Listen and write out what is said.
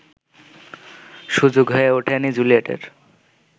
সুযোগ হয়ে ওঠেনি জুলিয়েটের